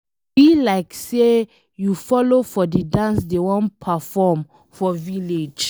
E be like say you follow for the dance dey wan perform for village.